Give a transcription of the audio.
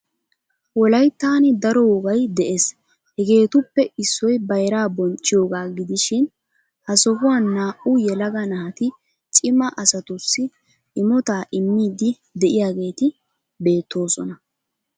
Wolayittani daro wogay de"es. Hegeetuppe issoy bayiraa bonchchiyogaa gidishin ha sohuwaani naa"u yelaga naati cima asatussi imotaa immiiddi de'iyageeti beettoosona.